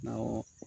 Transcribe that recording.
Awɔ